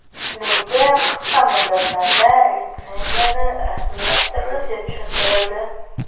Menga qisqa muddatlarda litsenziyani rasmiylashtirilishi tushuntirildi.